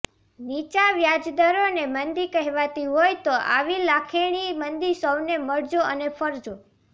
નીચા વ્યાજદરોને મંદી કહેવાતી હોય તો આવી લાખેણી મંદી સૌને મળજો અને ફળજો